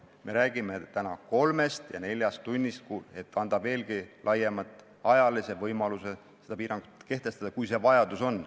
Me räägime täna kolmest ja neljast tunnist, et anda veelgi laiemat ajalist võimalust seda piirangut kehtestada, kui vajadus on.